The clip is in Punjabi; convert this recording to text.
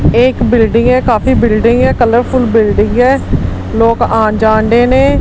ਏਕ ਬਿਲਡਿੰਗ ਹੈ ਕਾਫੀ ਬਿਲਡਿੰਗ ਹੈ ਕਲਰਫੁਲ ਬਿਲਡਿੰਗ ਹੈ ਲੋਕ ਆਣ ਜਾਂਡੇ ਨੇਂ।